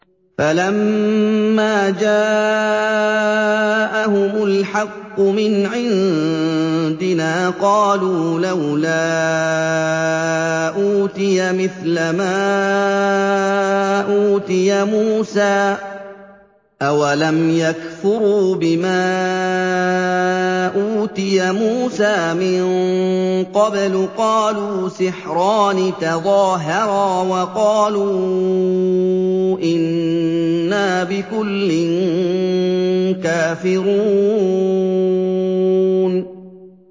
فَلَمَّا جَاءَهُمُ الْحَقُّ مِنْ عِندِنَا قَالُوا لَوْلَا أُوتِيَ مِثْلَ مَا أُوتِيَ مُوسَىٰ ۚ أَوَلَمْ يَكْفُرُوا بِمَا أُوتِيَ مُوسَىٰ مِن قَبْلُ ۖ قَالُوا سِحْرَانِ تَظَاهَرَا وَقَالُوا إِنَّا بِكُلٍّ كَافِرُونَ